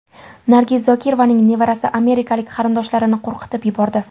Nargiz Zokirovaning nevarasi amerikalik qarindoshlarini qo‘rqitib yubordi.